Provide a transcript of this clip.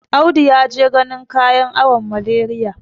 Audi ya je ganin kayan awon Malariya.